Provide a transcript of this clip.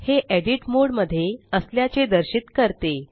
हे edit mode मध्ये असल्याचे दर्शित करते